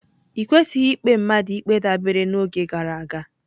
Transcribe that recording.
I kwesịghị ikpe mmadụ ikpe dabere n'oge gara aga.